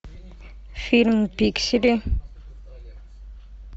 фильм пиксели